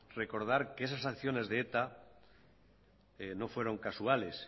recordar que esas acciones de eta no fueron casuales